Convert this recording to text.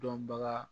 Dɔnbaga